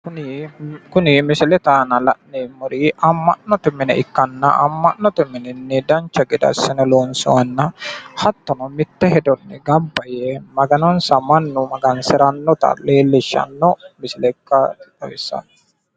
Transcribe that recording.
Kuni misilete aana la'neemmori Ama'note mine ikkanna misilete garinni mannu togooni gamba yee kaaliiqa guwisirate( maga'nate) amurati nootta xawisano